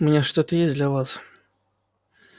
у меня что-то есть для вас